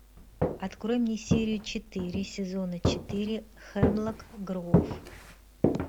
открой мне серию четыре сезона четыре хемлок гроув